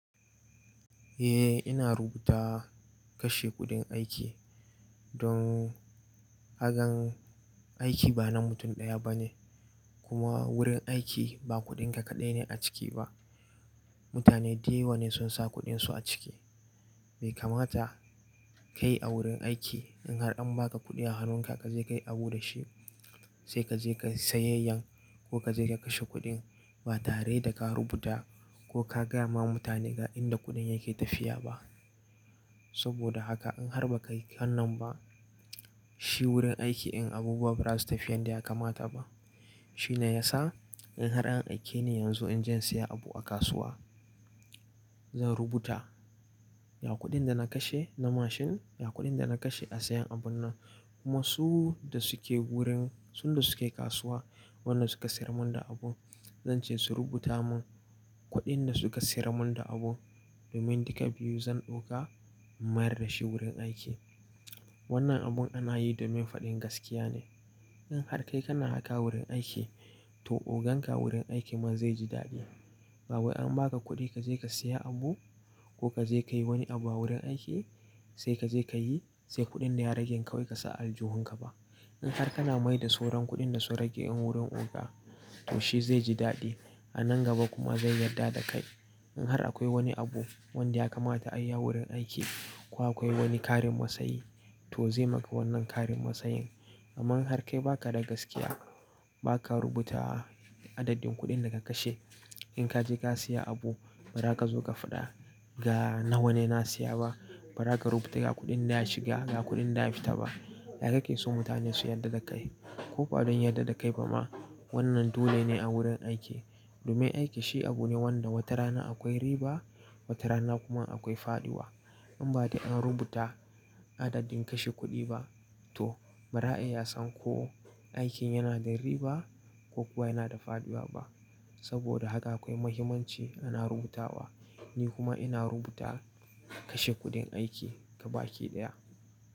Eh ina rubuta kashe kuɗin aiki don gakan aiki ba na mutum ɗaya bane kuma wurin aiki ba kuɗinka kaɗai ne a ciki ba. Mutane dayawa ne sun sa kuɗin su a ciki. Bai kamata ka yi a wurin aiki in har an ba ka kuɗi a hannunka ka je ka yi abu da shi sai ka je ka yi sayayyan ko ka je ka kashe kuɗin ba tare da ka rubuta ko ka gaya ma mutane ga inda kuɗin yake tafiya ba. Saboda haka in har ba ka yi wannan ba, shi wurin aiki in abubuwa ba za su tafiya inda ya kamata ba. Shi ne ya sa in har an aike ni yanzu in je in saya abu a kasuwa, zan rubuta ga kuɗin da na kashe na mashin, ga kuɗin da na kashe a sayan abun nan. Kuma su da suke wurin, sun da suke kasuwa, wannan suka siyar mun da abu, zan ce su rubuta mun kuɗin da suka siyar mun da abu domin duka biyu zan ɗauka in mayar da shi wurin aiki. Wannan abun ana yi domin faɗin gaskiya ne. In har kai kana haka wurin aiki, to ogan ka wurin aiki man zai ji daɗi. Ba wai an ba ka kuɗi ka je ka saya abu ko ka je ka yi wani abu a wurin aiki sai ka je ka yi sai kuɗin da ya rage kawai ka sa a aljihun ka ba. In har kana mai da sauran kuɗin da su rage wurin oga, to shi zai ji daɗi. A nan gaba kuma zai yarda da kai. In har akwai wani abu wanda ya kamata a yi a wurin aiki ko akwai wani ƙarin masayi to zai maka wannan ƙarin masayin. Amma in har kai ba ka da gaskiya, ba ka rubuta adadin kuɗin da ka kashe, in ka je ka saya abu ba za ka zo ka faɗa ga nawa ne na siya ba, ba za ka rubuta ga kuɗin da ya shiga ga kuɗin da ya fita ba. Yaya kake so mutane su yarda da kai? Ko ba don yarda da kai ba ma wannan dole ne a wurin aiki. Domin aiki shi abu ne wanda wata rana akwai riba wata rana kuma akwai faɗiwa. In ba dai an rubuta adadin kashe kuɗi ba to ba za a iya san ko aikin yana da riba ko kuwa yana da faɗiwa ba. Saboda haka akwai muhimmanci ana rubuta wa. Ni kuma ina rubuta kashe kuɗin aiki ga baki ɗaya.